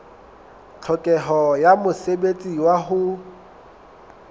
tlhokeho ya mosebetsi wa ho